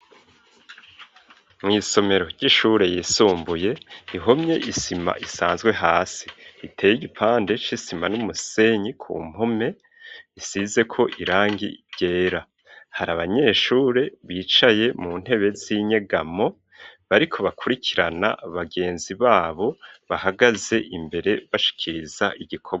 Mw'isomero ry'ishure yisumbuye ihomye isima isanzwe hasi, iteye igipande c'isima n'umusenyi ku mpome, isizeko irangi ryera. Hari abanyeshure bicaye mu ntebe z'inyegamo bariko bakurikirana abagenzi babo bahagaze imbere bashikiriza igikorwa.